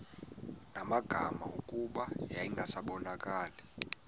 magama kuba yayingasabonakali